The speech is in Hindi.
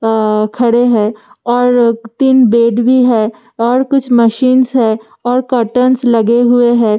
आ खड़े है और क तीन बेड भी है और कुछ मशीनस है और कुछ कर्टनस लगे हुए हैं।